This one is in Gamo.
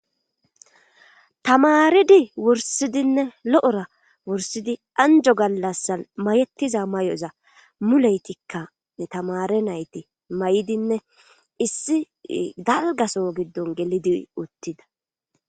Tamaaridi wurssidinne lo7ora wurssidi anjjo gallasan mayettiza mayoxa muleytikka he tamaare nayti mayidine issi dalgga soho giddon gelidi uttida.